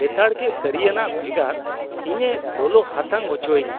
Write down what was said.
ᱞᱮᱛᱟᱲᱜᱮ ᱠᱟᱹᱨᱤᱭᱟᱱᱟᱜ ᱵᱷᱮᱜᱟᱨ, ᱤᱧᱮ ᱞᱚᱞᱚ ᱦᱟᱛᱟᱝ ᱚᱪᱚᱭᱤᱧᱟ ᱾